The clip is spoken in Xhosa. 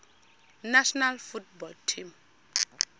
national football team